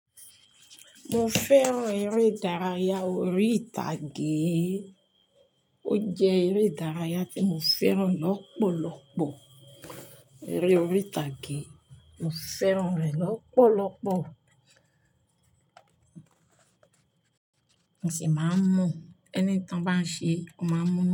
Mo fẹ́ràn eré ìdárayá orí ìtàgé. Ó jẹ́ eré ìdárayá tí mo fẹ́ràn lọ́pọ̀lọ́pọ̀. Eré orí ìtàgé, mo fẹ́ràn rẹ̀ lọ́pọ̀lọ́pọ̀. Mo sì máa ń mọ̀, ẹni ta n bá ń ṣe, o máa mọ̀